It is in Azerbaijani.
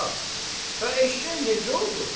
"Bala, bəs eşşək necə oldu?"